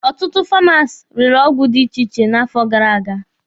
Ọtụtụ Famasi rere ọgwụ dị iche iche n'afọ gara aga.